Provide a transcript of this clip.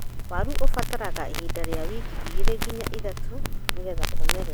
Waru ibataraga ihinda rĩa wiki igĩrĩ nginya ithatũ nĩgetha imere.